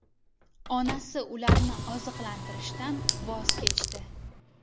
Onasi ularni oziqlantirishdan voz kechdi.